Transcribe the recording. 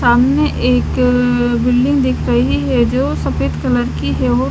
सामने एक अः बिल्डिंग दिख रही है जो सफ़ेद कलर की है वो--